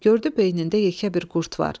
Gördü beynində yekə bir qurd var.